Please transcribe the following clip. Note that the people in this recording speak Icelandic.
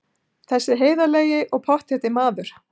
Þessi heiðarlegi og pottþétti maður!